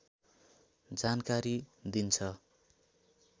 जानकारी दिन्छ